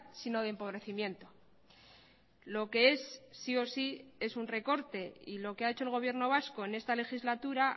sino de empobrecimiento lo que es sí o sí es un recorte y lo que ha hecho el gobierno vasco en esta legislatura